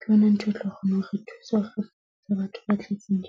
ke yona ntho e tlo kgona ho thusa hore batho ba tletseng .